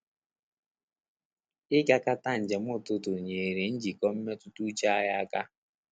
Igakata njem ọtụtụ nyere njikọ mmetụta uche anyị aka